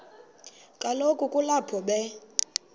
kaloku kulapho be